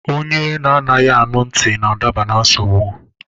Onye anaghị anụ ntị n'adaba na nsogbụ